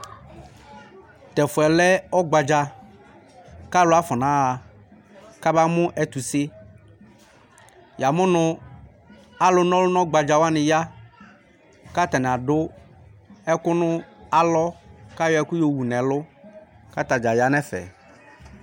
Tu ɛfu yɛ lɛ ɔgbadza Ku alu afɔnaɣa ku abamu ɛtuse Yamunu alu na ɔlu nu ɔgbadzawani ya ku atani adu ɛku nu alɔ ku ayɔ ɛku yɔwu nu ɛlu ku atadza ya nu ɛfɛ